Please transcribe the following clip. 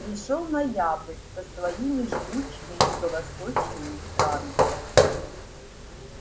пришёл ноябрь со своими жгучими юго-восточными ветрами